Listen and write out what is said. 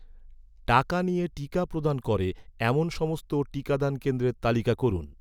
টাকা নিয়ে টিকা প্রদান করে, এমন সমস্ত টিকাদান কেন্দ্রের তালিকা করুন